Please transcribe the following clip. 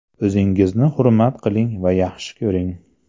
O‘zingizni hurmat qiling va yaxshi ko‘ring.